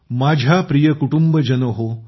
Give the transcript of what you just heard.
माझ्या प्रिय कुटुंब जनहो